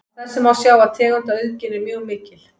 Af þessu má sjá að tegundaauðgin er mjög mikil.